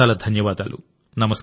చాలా చాలా ధన్యవాదాలు